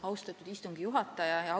Austatud istungi juhataja!